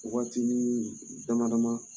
Wagati minnu ye daŋanama